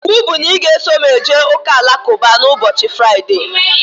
Ịwụ bụ na ị ga-eso m jee ụka alakụba ụbọchị Fraịdee!